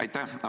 Aitäh!